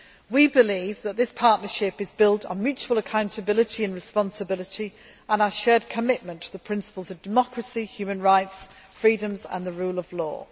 We believe that this partnership is built on mutual accountability and responsibility and a shared commitment to the principles of democracy, human rights, freedoms and the rule of law.